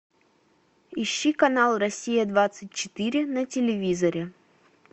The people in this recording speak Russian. ищи канал россия двадцать четыре на телевизоре